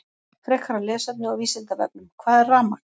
Frekara lesefni á Vísindavefnum: Hvað er rafmagn?